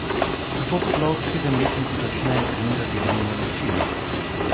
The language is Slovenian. Kako sploh sedemletniki začnejo trenirati borilne veščine?